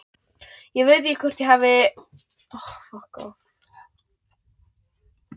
Ég veit ekki hvort ég hef nokkurn áhuga á því.